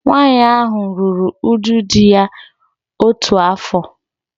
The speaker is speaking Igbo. Nwaanyị ahụ ruru uju di ya otu afọ